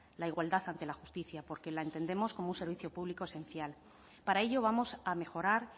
la igualdad ante la justicia porque la entendemos como un servicio público esencial para ello vamos a mejorar